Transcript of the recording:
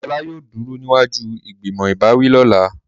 Ola yóò duro niwaju ìgbìmọ̀ ìbáwí lọla.